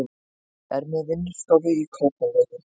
Er með vinnustofu í Kópavogi.